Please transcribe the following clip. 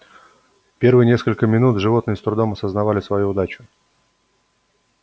первые несколько минут животные с трудом осознавали свою удачу